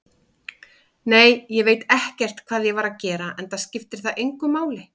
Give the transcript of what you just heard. Nei, ég veit ekkert hvað ég var að gera, enda skiptir það engu máli.